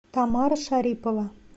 тамара шарипова